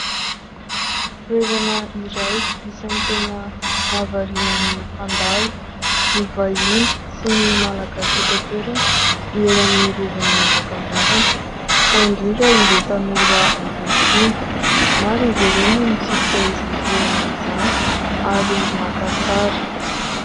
Toerana iray isany tena mahavariana ny mpandalo, ny vahiny sy ny Malagasy eto an-toerana ny eny amin'ny rovan'ny manjakamiadana fa indrindra ireo tanora ankehitriny. Maro izy ireo no mitsidika izany toerana izany ary maka sary.